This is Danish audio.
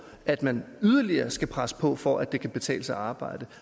at man yderligere skal presse på for at det kan betale sig at arbejde